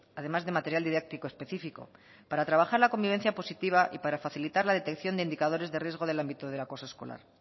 además de material didáctico específico para trabajar la convivencia positiva y para facilitar la detección de indicadores de riesgo del ámbito del acoso escolar